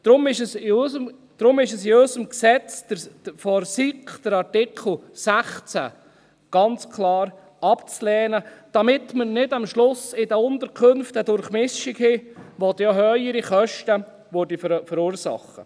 Für uns ist deshalb der Artikel 16 dieses Gesetzes ganz klar abzulehnen, damit wir am Ende in den Unterkünften nicht eine Durchmischung haben, welche dann auch höhere Kosten verursacht.